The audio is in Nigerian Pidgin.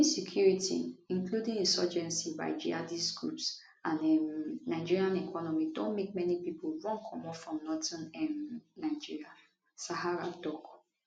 insecurity [including insurgency by jihadist groups] and um nigeria economy don make many pipo run comot from northern um nigeria sahara tok